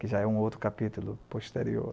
Que já é um outro capítulo posterior.